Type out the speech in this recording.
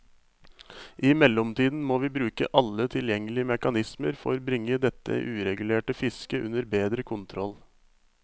I mellomtiden må vi bruke alle tilgjengelige mekanismer for bringe dette uregulerte fisket under bedre kontroll.